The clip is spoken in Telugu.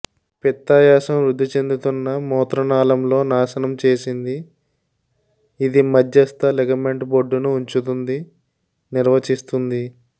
పిత్తాశయం వృద్ధి చెందుతున్న మూత్ర నాళంలో నాశనం చేసింది ఇది మధ్యస్థ లిగమెంట్ బొడ్డును ఉంచుతుంది నిర్వచిస్తుంది